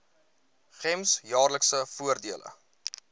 gems jaarlikse voordele